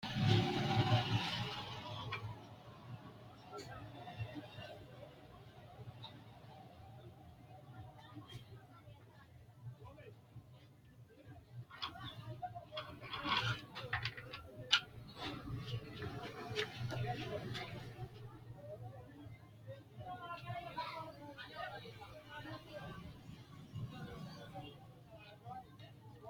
Kuni babaxino xaga ikase bunxana qoleno tene xaga aanohu nootana owante yinaninna afina'ni darga ikasi xawino garini nootana buuxa dandinemo?